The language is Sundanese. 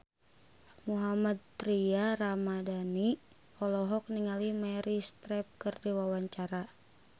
Mohammad Tria Ramadhani olohok ningali Meryl Streep keur diwawancara